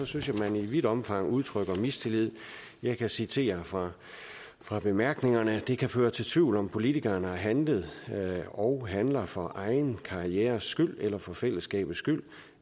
synes jeg man i vidt omfang udtrykker mistillid jeg kan citere fra fra bemærkningerne det kan føre til tvivl om om politikeren har handlet og handler for egen karrieres skyld eller for fællesskabets skyld